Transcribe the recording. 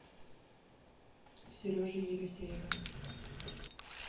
сережей елисеевым